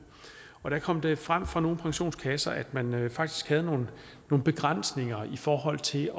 og der kom det frem fra nogle pensionskasser at man faktisk havde nogle begrænsninger i forhold til